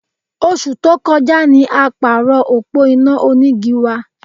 Oṣù tó kọjá ni a pààrọ̀ òpó iná onígi wa